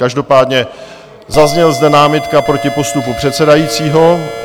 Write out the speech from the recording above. Každopádně zazněla zde námitka proti postupu předsedajícího.